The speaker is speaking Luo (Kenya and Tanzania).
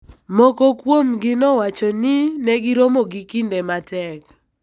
moko kuomgi, nowacho ni ne giromo gi kinde matek.